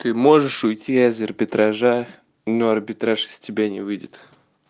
ты можешь уйти а из арбитража но арбитраж из тебя не выйдет